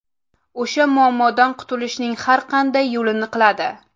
O‘sha muammodan qutulishning har qanday yo‘lini qiladi.